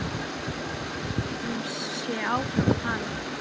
En hún hélt sem sé áfram að tala